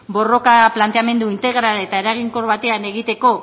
borroka planteamendu integral eta eraginkor batean egiteko